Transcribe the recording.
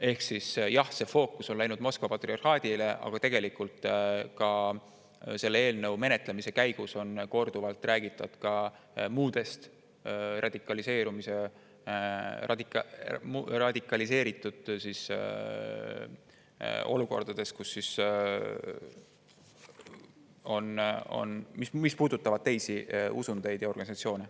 Ehk jah, see fookus on läinud Moskva patriarhaadile, aga selle eelnõu menetlemise käigus on korduvalt räägitud ka muudest radikaliseeritud olukordadest, mis puudutavad teisi usundeid ja organisatsioone.